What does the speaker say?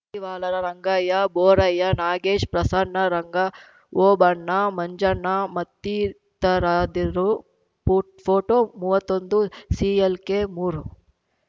ಮಡಿವಾಳರ ರಂಗಯ್ಯ ಬೋರಯ್ಯ ನಾಗೇಶ್‌ ಪ್ರಸನ್ನ ರಂಗ ಓಬಣ್ಣ ಮಂಜಣ್ಣ ಮತ್ತಿತರಾದಿರು ಪೋ ಪೋಟೋ ಮೂವತ್ತೊಂದುಸಿಎಲ್‌ಕೆಮೂರು